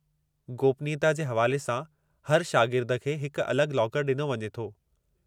गोपनीयता जे हवाले सां, हर शागिर्द खे हिकु अलॻि लाकरु ॾिनो वञे थो।